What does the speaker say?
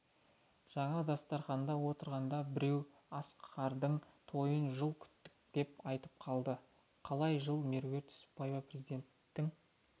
жаңа дастарханда отырғанда біреу асқардың тойын жыл күттік деп айтып қалды қалай жыл меруерт түсіпбаева президенттің